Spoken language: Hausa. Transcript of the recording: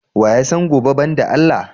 Wa ya san gobe ban da Allah?